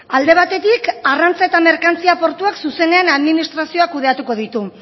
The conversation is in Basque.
alde batetik arrantza eta merkantzia portuak zuzenean administrazioa kudeatuko ditu